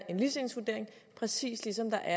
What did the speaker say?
en ligestillingsvurdering præcis ligesom der